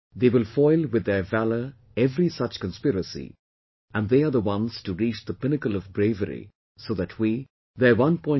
They will foil with their valour every such conspiracy, and they are the ones to reach the pinnacle of bravery so that we, their 1